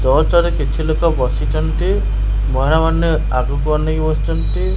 ଚର୍ଚ୍ଚରେ କିଛି ଲୋକ ବସିଛନ୍ତି ମହିଳାମାନେ ଆଗକୁ ଅନେଇକି ବସିଛନ୍ତି।